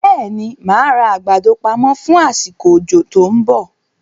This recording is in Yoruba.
Bẹ́ẹ̀ni, máa ra àgbàdo pamọ fún asiko òjò tòun bọ̀